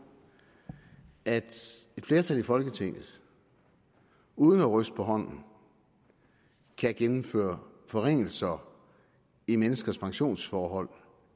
at et flertal i folketinget uden at ryste på hånden kan gennemføre forringelser i menneskers pensionsforhold